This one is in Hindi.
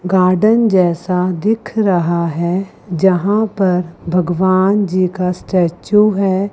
गार्डन जैसा दिख रहा है जहां पर भगवान जी का स्टेचू है।